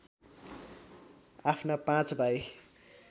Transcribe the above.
आफ्ना पाँच भाइ